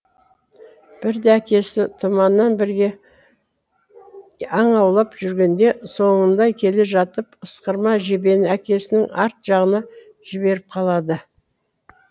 бірде әкесі тұманмен бірге аң аулап жүргенде соңында келе жатып ысқырма жебені әкесінің арт жағына жіберіп қалады